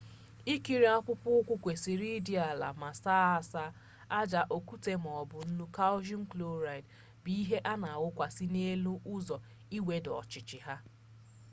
ikiri akpụkpọ ụkwụ kwesịrị ịdị ala ma saa asaa. aja okwute maọbụ nnu kalshium kloraịdị bụ ihe a na awụsakarị n'elu ụzọ iwedata ọchịchị ha